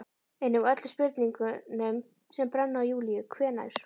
Einnig öllum spurningunum sem brenna á Júlíu: Hvenær